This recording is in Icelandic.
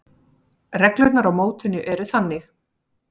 Reglurnar á mótinu eru þannig: